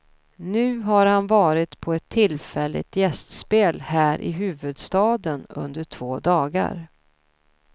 Nu har han varit på ett tillfälligt gästspel här i huvudstaden under två dagar.